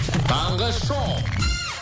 таңғы шоу